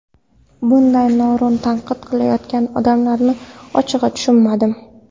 Bunday noo‘rin tanqid qilayotgan odamlarni ochig‘i tushunmadim”.